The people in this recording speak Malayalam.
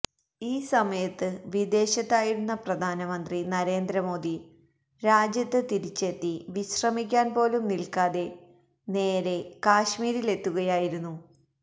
ഈ സമയത്ത് വിദേശത്തായിരുന്ന പ്രധാനമന്ത്രി നരേന്ദ്രമോദി രാജ്യത്ത് തിരിച്ചെത്തി വിശ്രമിക്കാന് പോലും നില്ക്കാതെ നേരേ കശ്മീരിലെത്തുകയായിരുന്നു